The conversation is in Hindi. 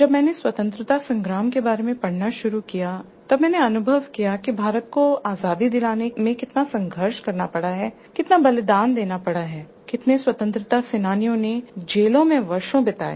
जब मैंने स्वतंत्रता संग्राम के बारे में पढ़ना शुरू किया तब मैंने अनुभव किया कि भारत को आजादी दिलाने में कितना संघर्ष करना पड़ा है कितना बलिदान देना पड़ा है कितने स्वतंत्रता सेनानियों ने जेलों में वर्षों बिताए